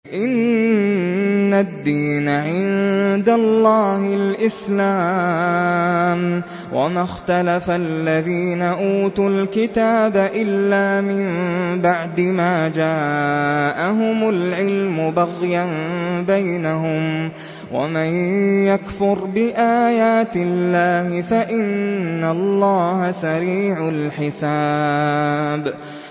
إِنَّ الدِّينَ عِندَ اللَّهِ الْإِسْلَامُ ۗ وَمَا اخْتَلَفَ الَّذِينَ أُوتُوا الْكِتَابَ إِلَّا مِن بَعْدِ مَا جَاءَهُمُ الْعِلْمُ بَغْيًا بَيْنَهُمْ ۗ وَمَن يَكْفُرْ بِآيَاتِ اللَّهِ فَإِنَّ اللَّهَ سَرِيعُ الْحِسَابِ